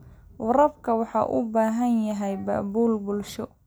Waraabka waxa uu u baahan yahay abaabul bulsho.